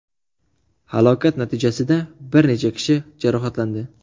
Halokat natijasida bir necha kishi jarohatlandi.